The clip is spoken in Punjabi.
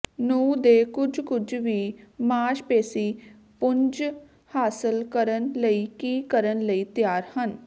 ਨੂੰ ਦੇ ਕੁਝ ਕੁਝ ਵੀ ਮਾਸਪੇਸ਼ੀ ਪੁੰਜ ਹਾਸਲ ਕਰਨ ਲਈ ਕੀ ਕਰਨ ਲਈ ਤਿਆਰ ਹਨ